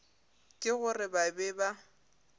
ke gore ba be ba